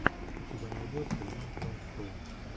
у тебя найдется йон трон шоу